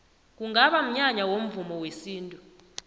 kungaba mnyanya womvumo wesintu